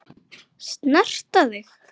Snerta þig.